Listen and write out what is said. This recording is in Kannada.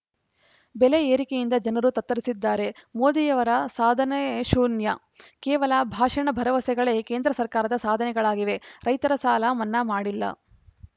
ಬೆಲೆಯೇರಿಕೆಯಿಂದ ಜನರು ತತ್ತರಿಸಿದ್ದಾರೆ ಮೋದಿಯವರ ಸಾಧನೆ ಶೂನ್ಯ ಕೇವಲ ಭಾಷಣ ಭರವಸೆಗಳೇ ಕೇಂದ್ರ ಸರ್ಕಾರದ ಸಾಧನೆಗಳಾಗಿವೆ ರೈತರ ಸಾಲ ಮನ್ನಾ ಮಾಡಿಲ್ಲ